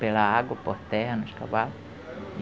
Pela água, por terra, nos cavalo.